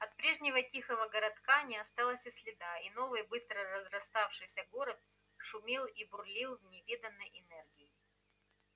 от прежнего тихого городка не осталось и следа и новый быстро разраставшийся город шумел и бурлил с невиданной энергией